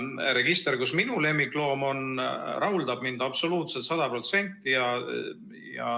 Register, kus minu lemmikloom on, rahuldab mind absoluutselt, 100%.